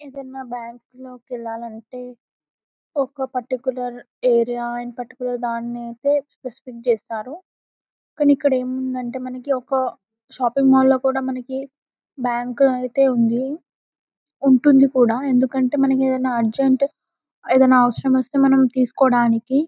ఏదన్న బ్యాంకు లోకి వెళ్లాలంటే ఒక పర్టికులర్ ఏరియా అండ్ పర్టికులర్ దాన్ని ఐతే స్పెసిఫిక్ చేస్తారు కానీ ఇక్కడ ఏముందంటే మనకి ఒక షాపింగ్ మాల్ లో మనకి బ్యాంకు ఐతే ఉంది ఉంటుంది కూడా ఎందుకంటే మనకి ఏదిన అర్జెంట్ ఏదిన అవసరం వస్తే మనం తీసుకోడానికి --